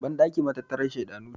bandaki matattarar shedanu ce